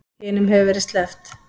Hinum hefur verið sleppt